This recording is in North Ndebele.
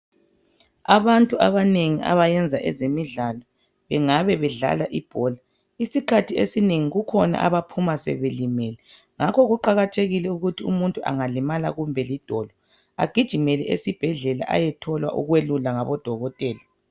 abantu abanengi abayenza ezemidlalo ngabe bedlala ibhola isikhathi esinengi kukhona abaphuma sebelimele ngakho kuqakathekile ukuthi umuntu angalimala kumbe li dolo agijimele esibhedlela ayethola ukwelulwa ngabodokotela